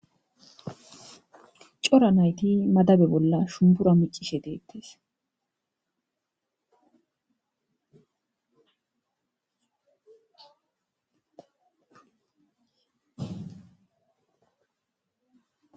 Cora nayti madabe bolla shumbura miccishe deettes.